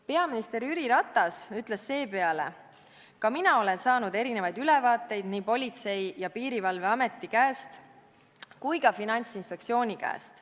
" Peaminister Jüri Ratas ütles seepeale: "Ka mina olen saanud erinevaid ülevaateid nii politsei- ja piirivalveameti käest kui ka finantsinspektsiooni käest.